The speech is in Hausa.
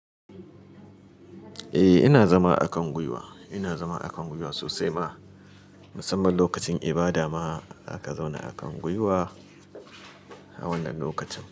Eh ina zama a kan gwiwa, ina zama a kan gwiwa sosai ma, musamman lokacin ibada ma zaka zauna a kan gwiwa a wannan lokacin.